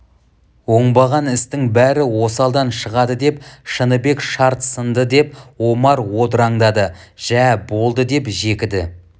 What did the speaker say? оңбаған істің бәрі осалдан шығады деп шыныбек шарт сынды деп омар одыраңдады жә болды деп жекіді